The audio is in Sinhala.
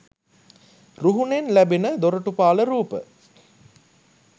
රුහුණෙන් ලැබෙන දොරටුපාල රූප